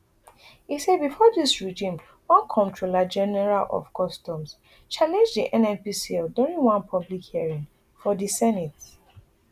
e say bifor dis regime one comptroller general of customs challenge di nnpcl during one public hearing for di senate